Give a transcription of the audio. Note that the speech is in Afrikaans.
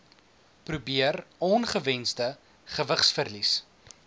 probeer ongewensde gewigsverlies